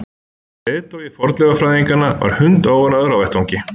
Leiðtogi fornleifafræðinganna var hundóánægður á vettvangi.